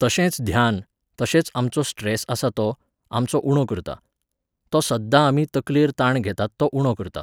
तशेंच ध्यान, तशेंच आमचो स्ट्रॅस आसा तो, आमचो उणो करता. तो सद्दां आमी तकलेर ताण घेतात तो उणो करता